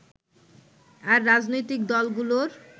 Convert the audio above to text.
আর রাজনৈতিক দলগুলোর